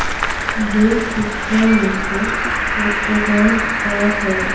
यह पिक्चर एक रेस्टोरेंट का है।